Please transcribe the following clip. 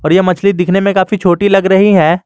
और यह मछली दिखने में काफी छोटी लग रही है।